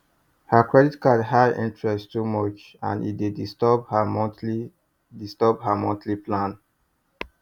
her credit card high interest too much and e dey disturb her monthly disturb her monthly plan